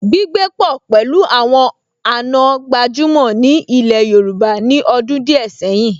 Gbígbé pọ̀ pẹ̀lú àwọn àna gbajúmọ̀ ní ilẹ̀ Yorùbá ní ọdún díẹ̀ sẹ́yìn